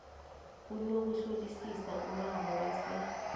kunokuhlolisisa umraro bese